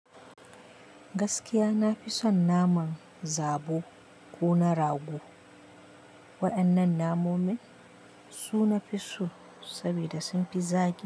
Gaskiya na fi son naman zabo ko na rago. Waɗannan namomin su nafi so saboda sun fi zaƙi.